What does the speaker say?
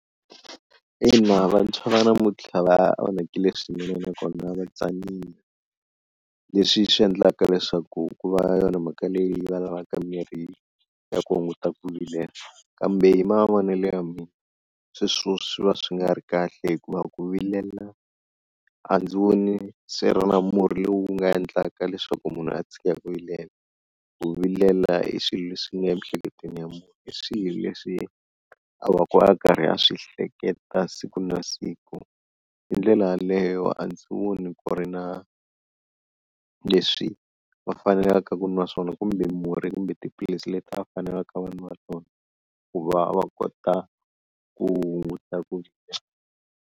Ina vantshwa va namuntlha va onhakile swinene nakona va tsanile leswi swi endlaka leswaku ku va yona mhaka leyi va lavaka mirhi ya ku hunguta ku vilela, kambe hi mavonelo ya mina sweswo swi va swi nga ri kahle hikuva ku vilela a ndzi voni swi ri na murhi lowu nga endlaka leswaku munhu a tshika ku vilela, ku vilela i swilo leswi nga emiehleketweni ya munhu i swilo leswi a va ku a karhi a swi hleketa siku na siku, hi ndlela yaleyo a ndzi voni ku ri na leswi va fanelaka ku nwa swona kumbe murhi kumbe tiphilisi leti va fanelaka vanwa tona, ku va va kota ku hunguta ku .